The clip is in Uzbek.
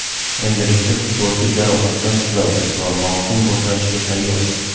Endilikda futbolchi jarohatdan tuzaldi va mavsum boshlanishiga tayyor.